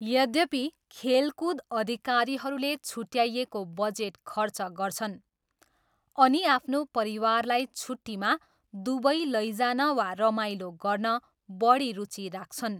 यद्यपि, खेलकुद अधिकारीहरूले छुट्याइएको बजेट खर्च गर्छन् अनि आफ्नो परिवारलाई छुट्टीमा दुबई लैजान वा रमाइलो गर्न बढी रुचि राख्छन्।